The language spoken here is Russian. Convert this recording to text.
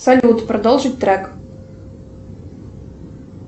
салют продолжить трек